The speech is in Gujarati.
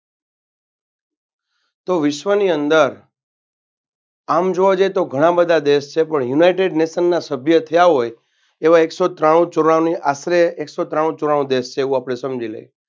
તો વિશ્વની અંદર આમ જોવા જઈએ તો ઘણા બધા દેશ છે પણ United Nation ના સભ્ય થ્યા હોય એવા એકસો ત્રાણુ ચોરાણું આશરે એકસો ત્રાણુ ચોરાણું દેશ છે એવું આપણે સમજી લઈએ.